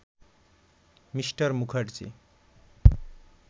Me. Mukherjee